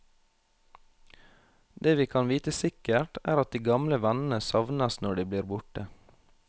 Det vi kan vite sikkert, er at de gamle vennene savnes når de blir borte.